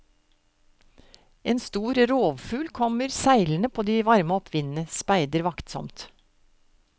En stor rovfugl kommer seilende på de varme oppvindene, speider vaktsomt.